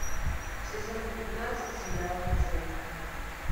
сезон пятнадцать сериала дзен